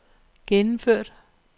gennemført